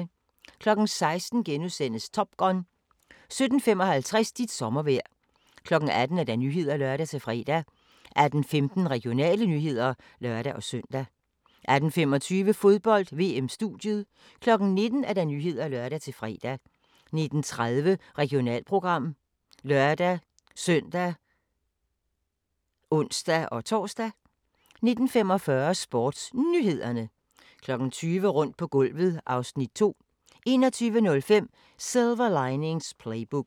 16:00: Top Gun * 17:55: Dit sommervejr 18:00: Nyhederne (lør-fre) 18:15: Regionale nyheder (lør-søn) 18:25: Fodbold: VM-studiet 19:00: Nyhederne (lør-fre) 19:30: Regionalprogram (lør-søn og ons-tor) 19:45: SportsNyhederne 20:00: Rundt på gulvet (Afs. 2) 21:05: Silver Linings Playbook